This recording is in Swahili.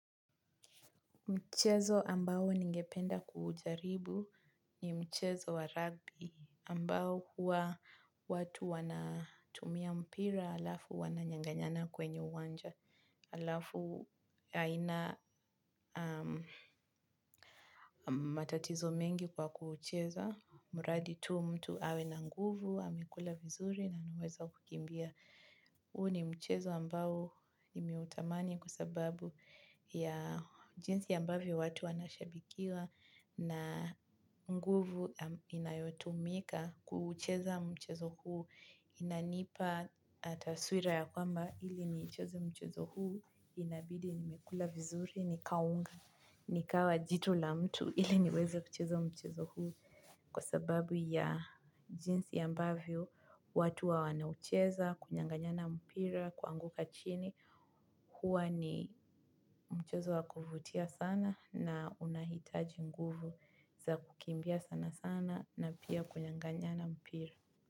Mchezo ambao ningependa kuujaribu ni mchezo wa rugby ambao huwa watu wanatumia mpira alafu wananyanganyana kwenye uwanja. Alafu haina matatizo mengi kwa kuucheza, mradi tu mtu awe na nguvu, amekula vizuri na anaweza kukimbia. Huu ni mchezo ambao ninautamani kwa sababu ya jinsi ambavyo watu wanvyo shabikiwa na nguvu inayotumika kuucheza mchezo huu. Inanipa taswira ya kwamba ili niicheze mchezo huu inabidi nimekula vizuri nikaunga, nikawa jitu la mtu ili niweze kuucheza mchezo huu. Kwa sababu ya jinsi ambavyo, watu wa wanaucheza, kunyanganyana mpira, kuanguka chini, huwa ni mchezo wa kuvutia sana na unahitaji nguvu za kukimbia sana sana na pia kunyanganyana mpira.